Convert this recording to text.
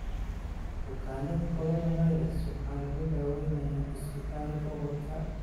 Bukaannada Coronavirus waxaa lagu daweynayaa isbitaal gobolka.